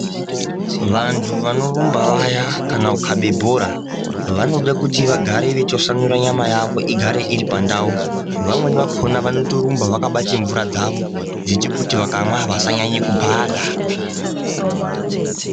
Vantu vanorumba vaya kana kukabe bhora vanoda kuti vagare vechitasamura nyama yavo igare itipandau, vamweni vanotorumba vakabate mvura dzavo dzechikuti vakavava vasanyanye kubhahla.